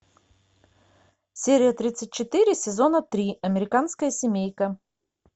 серия тридцать четыре сезона три американская семейка